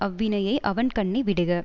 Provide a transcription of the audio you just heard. அவ்வினையை அவன்கண்ணே விடுக